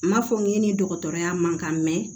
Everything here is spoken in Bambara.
N m'a fɔ n k'i ni dɔgɔtɔrɔya man kan mɛ